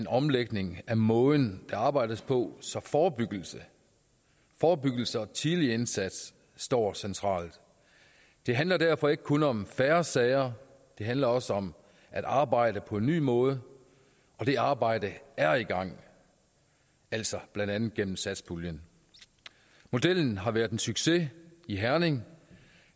omlægning af måden der arbejdes på så forebyggelse forebyggelse og tidlig indsats står centralt det handler derfor ikke kun om færre sager det handler også om at arbejde på en ny måde og det arbejde er i gang altså blandt andet gennem satspuljen modellen har været en succes i herning